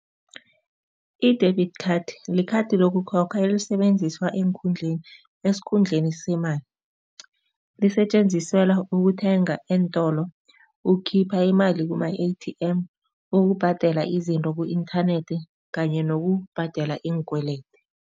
I-debit card likhadi lokukhokha elisebenziswa eenkhundleni esikhundleni semali. Lisetjenziselwa ukuthenga eentolo, ukukhipha imali kuma-A_T_M, ukubhadela izinto ku-inthanethi kanye nokubhadela iinkwelede.